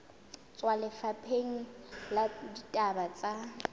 tswa lefapheng la ditaba tsa